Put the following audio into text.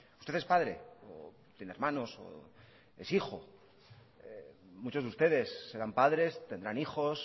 usted es padre o tiene hermanos o es hijo muchos de ustedes serán padres tendrán hijos